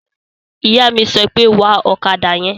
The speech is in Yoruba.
Ìyá mi sọ pé, "Wa ọ̀kadà yẹn!"